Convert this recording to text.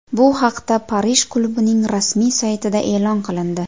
Bu haqda Parij klubining rasmiy saytida e’lon qilindi .